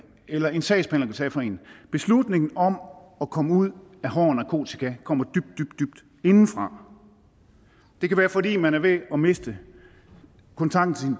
eller en sagsbehandler kan tage for en beslutningen om at komme ud af hård narkotika kommer dybt dybt indefra det kan være fordi man er ved at miste kontakten til